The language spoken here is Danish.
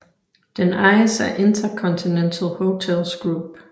Den ejes af InterContinental Hotels Group